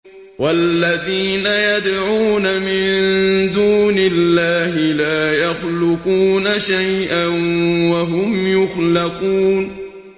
وَالَّذِينَ يَدْعُونَ مِن دُونِ اللَّهِ لَا يَخْلُقُونَ شَيْئًا وَهُمْ يُخْلَقُونَ